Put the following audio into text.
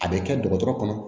A bɛ kɛ dɔgɔtɔrɔ kɔnɔ